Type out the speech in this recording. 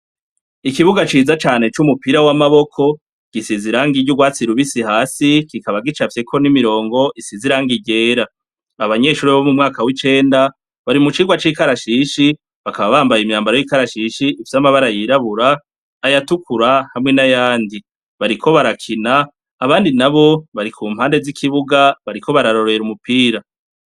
Ikibuga ciza cane c'umupira w'amaboko, gisize irangi ry'urwatsi rubisi hasi, kikaba gicafyeko n'imirongo isize irangi ryera. Abanyeshure bo mu mwaka w'icenda, bari mu cirwa c'ikarashishi, bakaba bambaye imyambaro y'ikarashishi ifise amabara yera na yirabura, ayatukura hamwe n'ayandi. Bariko barakina, abandi nabo bari ku mpande z'ikibuga bariko bararorera umupira.